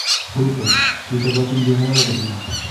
Ruto: Kichobotin kegalal ak Odinga.